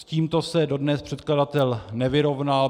S tímto se dodnes předkladatel nevyrovnal.